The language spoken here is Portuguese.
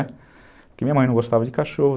Porque minha mãe não gostava de cachorro.